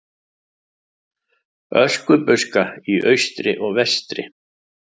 Öskubuska í austri og vestri.